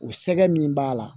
O sɛgɛ min b'a la